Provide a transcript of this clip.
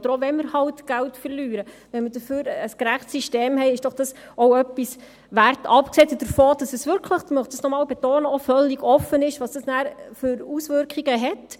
Auch wenn wir eben Geld verlieren, ist es doch auch etwas wert, wenn wir stattdessen ein gerechtes System haben, abgesehen davon, dass es wirklich – das möchte ich noch einmal betonen – auch völlig offen ist, was das nachher für Auswirkungen hat.